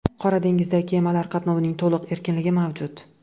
Qora dengizda kemalar qatnovining to‘liq erkinligi mavjud.